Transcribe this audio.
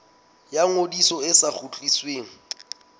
ya ngodiso e sa kgutlisweng